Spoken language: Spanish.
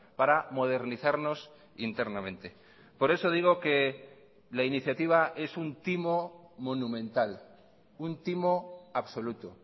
para modernizarnos internamente por eso digo que la iniciativa es un timo monumental un timo absoluto